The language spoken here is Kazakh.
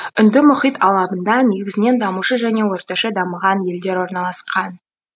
үнді мұхит алабында негізінен дамушы және орташа дамыған елдер орналасқан